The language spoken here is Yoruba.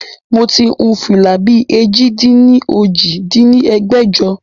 Moti hun fìlà bí èjì-dín-ní-ojì dín ní ẹgbẹ́jọ